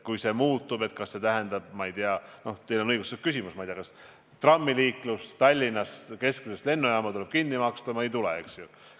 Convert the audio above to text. Kui rahastust muudetakse, siis kas see tähendab seda – teil on õigustatud küsimus –, et trammiliiklus Tallinna piires või kesklinnast lennujaama tuleb kinni maksta või ei tule?